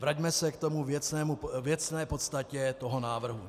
Vraťme se k té věcné podstatě toho návrhu.